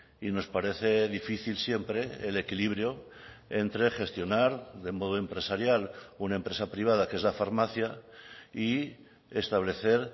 y nos parece difícil siempre el equilibrio entre gestionar de modo empresarial una empresa privada que es la farmacia y establecer